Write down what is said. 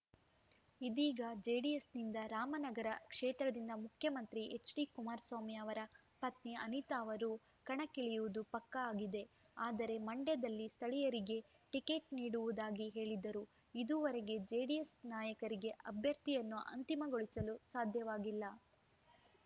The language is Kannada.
ಇದೀಗ ಜೆಡಿಎಸ್‌ನಿಂದ ರಾಮನಗರ ಕ್ಷೇತ್ರದಿಂದ ಮುಖ್ಯಮಂತ್ರಿ ಎಚ್‌ಡಿಕುಮಾರಸ್ವಾಮಿ ಅವರ ಪತ್ನಿ ಅನಿತಾ ಅವರು ಕಣಕ್ಕಿಳಿಯುವುದು ಪಕ್ಕಾ ಆಗಿದೆ ಆದರೆ ಮಂಡ್ಯದಲ್ಲಿ ಸ್ಥಳೀಯರಿಗೇ ಟಿಕೆಟ್‌ ನೀಡುವುದಾಗಿ ಹೇಳಿದ್ದರೂ ಇದುವರೆಗೆ ಜೆಡಿಎಸ್‌ ನಾಯಕರಿಗೆ ಅಭ್ಯರ್ಥಿಯನ್ನು ಅಂತಿಮಗೊಳಿಸಲು ಸಾಧ್ಯವಾಗಿಲ್ಲ